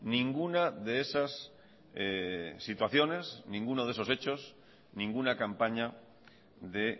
ninguna de esas situaciones ninguno de esos hechos ninguna campaña de